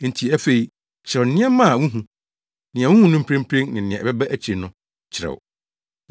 “Enti afei kyerɛw nneɛma a wuhu; nea wuhu no mprempren ne nea ɛbɛba akyiri no, kyerɛw.